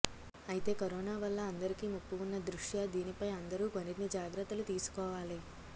అయితే కరోనా వల్ల అందరికీ ముప్పు ఉన్న దృష్ట్యా దీనిపై అందరూ మరిన్ని జాగ్రత్తలు తీసుకోవాలి